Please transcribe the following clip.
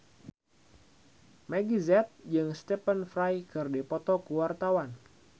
Meggie Z jeung Stephen Fry keur dipoto ku wartawan